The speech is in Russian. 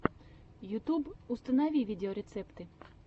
ютюб установи видеорецепты